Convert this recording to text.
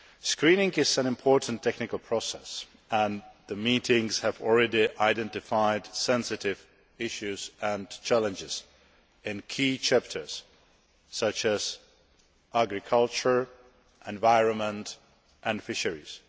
Screening is an important technical process and the meetings have already identified sensitive issues and challenges in key chapters, such as agriculture, environment and fisheries.